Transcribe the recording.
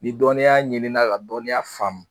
Ni dɔnniya ɲinina ka dɔnniya faamu